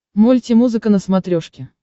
мульти музыка на смотрешке